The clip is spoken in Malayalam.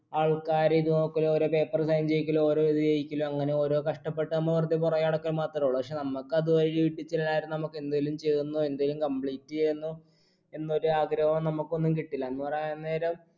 ആൾക്കാരെ ഇത് നോക്കലു ഓരോ paper sign ചെയ്യിക്കലു ഓരോ ഇത് ചെയ്യിക്കലു അങ്ങനെ ഓരോ കഷ്ടപ്പെട്ട നമ്മ വെർതെ പിറകെ നടക്ക മാത്രേ ഉള്ളു പക്ഷെ നമ്മക്ക് അത് ആയി വീട്ടി ചെല്ലാതിരുന്ന നമ്മക്ക് നമുക്കെന്തെലും ചെയ്തെന്നോ എന്തെലും complete എയ്തെന്നോ എന്നൊരാഗ്രഹു നമുക്കൊന്നു കിട്ടില്ല എന്ന് പറയാൻ നേരം